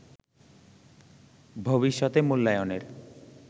ভবিষ্যতে মূল্যায়নের